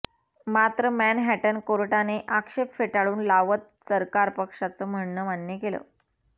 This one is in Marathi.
मात्र मॅनहॅटन कोर्टाने आक्षेप फेटाळून लावत सरकार पक्षाच म्हणणं मान्य केलं